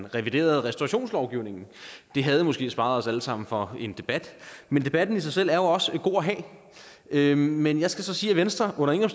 reviderede restaurationslovgivningen det havde måske sparet os alle sammen for en debat men debatten i sig selv er jo også god at have men jeg skal så sige at venstre under ingen